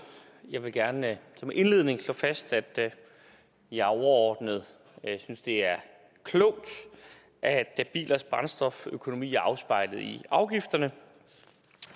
jeg vil gerne som indledning slå fast at jeg overordnet synes det er klogt at at bilers brændstoføkonomi er afspejlet i afgifterne